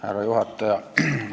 Härra juhataja!